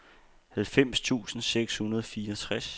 halvfems tusind seks hundrede og fireogtres